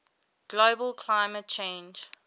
global climate change